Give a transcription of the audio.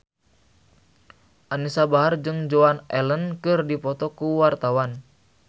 Anisa Bahar jeung Joan Allen keur dipoto ku wartawan